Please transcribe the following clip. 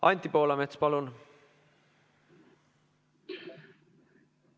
Anti Poolamets, palun!